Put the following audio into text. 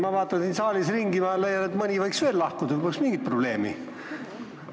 Ma vaatan siin saalis ringi ja leian, et mõni võiks veel lahkuda, poleks mingit probleemi.